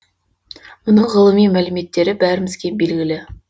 мұның ғылыми мәліметтері бәрімізге белгілі